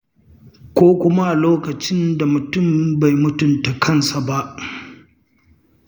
Ko kuma a lokacin da mutum bai mutunta kansa ba.